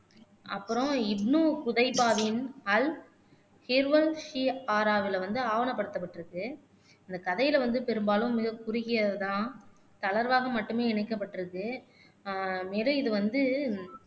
அப்புறம் வந்து ஆவணப்படுத்தப்பட்டிருக்கு இந்த கதையில வந்து பெரும்பாலும் மிகக் குறுகியது தான் தளர்வாக மட்டுமே இணைக்கப்பட்டிருக்கு ஆஹ் வேற இது வந்து